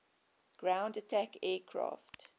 ground attack aircraft